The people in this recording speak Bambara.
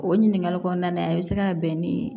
O ɲininkali kɔnɔna na a bɛ se ka bɛn ni